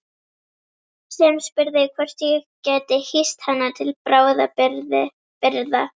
Sem spurði hvort ég gæti hýst hana til bráðabirgða.